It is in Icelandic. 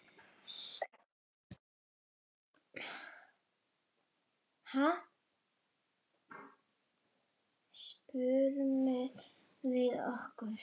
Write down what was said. spurðum við okkur.